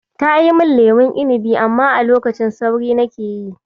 Tayi min lemon inibi, amma a lokacin sauri nake yi.